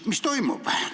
Mis toimub?